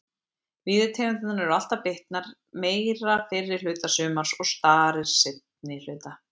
Víðitegundirnar eru alltaf bitnar meira fyrri hluta sumars og starir seinni hluta.